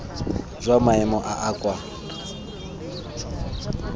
jwa maemo a a kwa